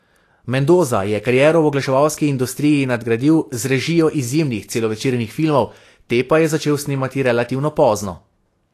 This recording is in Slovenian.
Mendoza je kariero v oglaševalski industriji nadgradil z režijo izjemnih celovečernih filmov, te pa je začel snemati relativno pozno.